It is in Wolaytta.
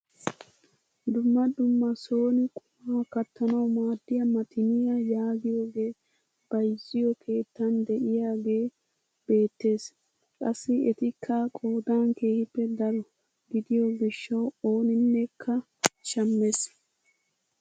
Dumma dumma soni qumaa kattanawu maaddiyaa maxiniyaa yaagiyooge bayzziyoo keettan de'iyaage beettees. qassi etikka qoodan keehippe daro gidiyoo gishshawu oninekka shammees.